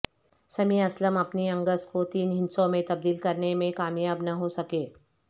سمیع اسلم اپنی اننگز کو تین ہندسوں میں تبدیل کرنے میں کامیاب نہ ہو سکے